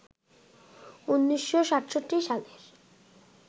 ১৯৬৭ সালের